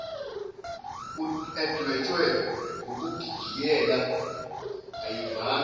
edwetshwe ngokugigiyela ayivami